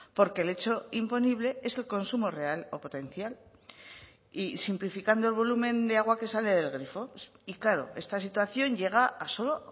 porque el hecho imponible es el consumo real o potencial y simplificando el volumen de agua que sale del grifo y claro esta situación llega a solo